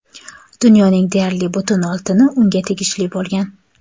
Dunyoning deyarli butun oltini unga tegishli bo‘lgan.